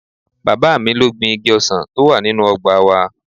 Bàbá mi ló gbin igi ọsàn tó wà nínú ọgbà wa